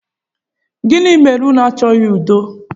Gini mere unu achọghị udo?